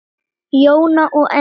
Jóna og Enok.